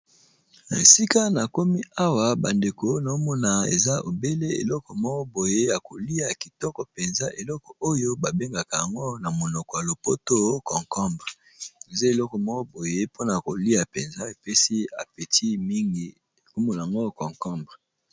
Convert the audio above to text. Esika na komi awa bandeko naomona eza ebele eloko moboye ya kolia kitoko mpenza eloko oyo babengaka yango na monoko ya lopoto concombre eza eloko moboye mpona kolia mpenza epesi apeti mingi ekumo n yango concombre.